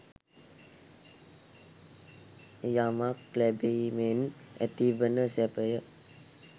යමක් ලැබීමෙන් ඇතිවන සැපය